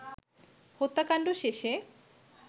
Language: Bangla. হত্যাকাণ্ড শেষে